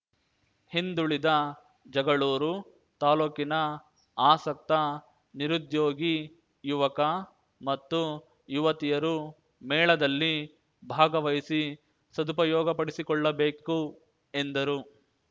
ಹಿಂದುಳಿದ ಜಗಳೂರು ತಾಲೂಕಿನ ಆಸಕ್ತ ನಿರುದ್ಯೋಗಿ ಯುವಕ ಮತ್ತು ಯುವತಿಯರು ಮೇಳದಲ್ಲಿ ಭಾಗವಹಿಸಿ ಸದುಪಯೋಗಪಡಿಸಿಕೊಳ್ಳಬೇಕು ಎಂದರು